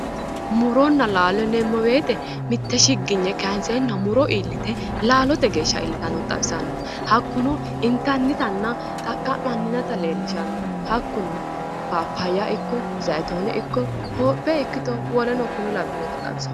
Muronna laalo yineemmo woyiite mitte shiginye kaayiinseenna muro iillite laalote geeshsha iillitannota xawisanno hattino intannitanna xaqqa'minannita leellishanno hakkuno paappaayya ikkito zaayitoone ikko hoophe ikkito woleno kuri labbeoota xawisanno.